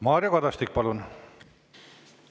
Mario Kadastik, palun!